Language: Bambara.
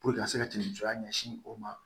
ka se ka nuja ɲɛsin o ma